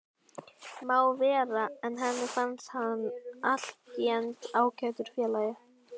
Má vera, en henni fannst hann allténd ágætur félagi.